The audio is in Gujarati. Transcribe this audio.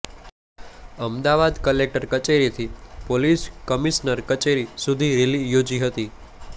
અમદાવાદ કલેક્ટર કચેરીથી પોલીસ કમિશનર કચેરી સુધી રેલી યોજી હતી